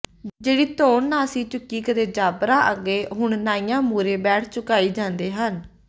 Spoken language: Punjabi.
ਜਿਹੜੀ ਧੌਣ ਨਾ ਸੀ ਝੁਕੀ ਕਦੇ ਜਾਬਰਾਂ ਅੱਗੇ ਹੁਣ ਨਾਈਆਂ ਮੂਹਰੇ ਬੈਠ ਝੁਕਾਈ ਜਾਂਦੇ ਨੇ